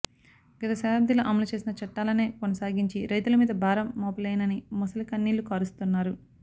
గత శతాబ్దిలో అమలుచేసిన చట్టాలనే కొనసాగించి రైతుల మీద భారం మోపలేనని మొసలి కన్నీళ్లు కారుస్తున్నారు